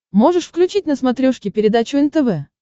можешь включить на смотрешке передачу нтв